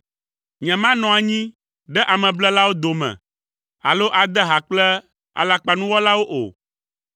Nyemanɔ anyi ɖe ameblelawo dome, alo ade ha kple alakpanuwɔlawo o.